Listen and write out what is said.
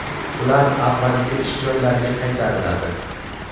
ular avvalgi ish joylariga qaytariladi.